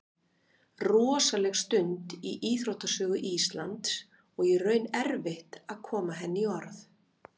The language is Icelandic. Rosaleg stund í íþróttasögu Íslands og í raun erfitt að koma henni í orð.